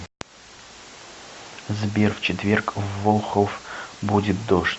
сбер в четверг в волхов будет дождь